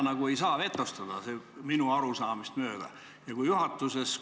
Minu arusaamist mööda ei saa seda vetostada.